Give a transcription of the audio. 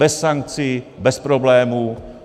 Bez sankcí, bez problémů.